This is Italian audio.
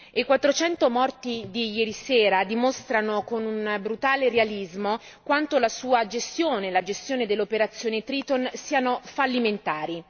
I 400 morti di ieri sera dimostrano, con un brutale realismo, quanto la sua gestione e la gestione dell'operazione Triton siano fallimentare.